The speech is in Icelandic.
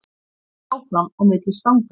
Hart áfram á milli stanganna